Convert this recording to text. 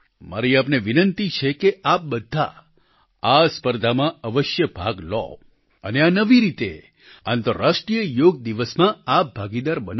મારી આપને વિનંતી છે કે આપ બધા આ સ્પર્ધામાં આવશ્ય ભાગ લો અને આ નવી રીતે આંતરરાષ્ટ્રિય યોગ દિવસમાં આપ ભાગીદાર બનો